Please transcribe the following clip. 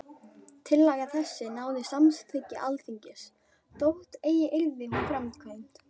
Tillaga þessi náði samþykki Alþingis, þótt eigi yrði hún framkvæmd.